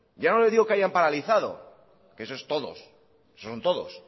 ya no le digo hayan paralizado que esos todos son todos